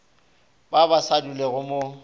ba ba sa dulego mo